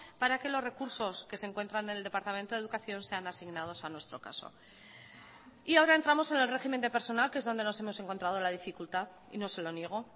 para que los recursos que se encuentran en el departamento de educación sean asignados a nuestro caso y ahora entramos en el régimen de personal que es donde nos hemos encontrado la dificultad y no se lo niego